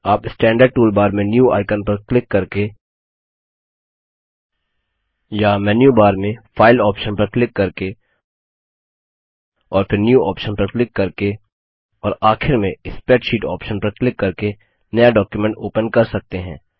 आप standard toolbar में new icon पर क्लिक करके या मेन्यू बार में फाइल ऑप्शन पर क्लिक करके और फिर न्यू ऑप्शन पर क्लिक करके और आखिर में स्प्रेडशीट ऑप्शन पर क्लिक करके नया डॉक्युमेंट ओपन कर सकते हैं